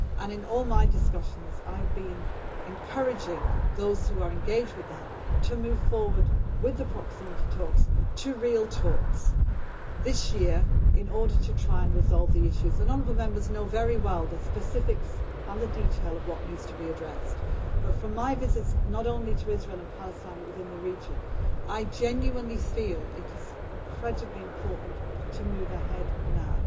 In all my discussions, I have been encouraging those who are engaged with them to move forward with the proximity talks to real talks this year, in order to try and resolve the issues. Honourable Members know very well the specifics and the detail of what needs to be addressed but, from my visits not only to Israel and Palestine but within the region, I genuinely feel it is incredibly important to move ahead now,